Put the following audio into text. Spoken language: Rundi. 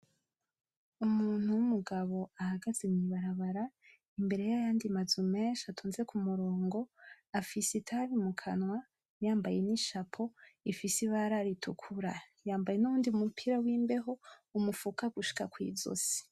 Umuntu w'umogabo ahagaze mw'ibarabara imbere y'ayandi mazu menshi atonze kumurongo. Afise itabi mu kanwa yambaye n'ishapo ifise ibara ritukura. Yambaye n'uwundu mupira wimbeho umufuka gushika kw'izosi.